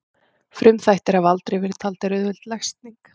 Frumþættir hafa aldrei verið taldir auðveld lesning.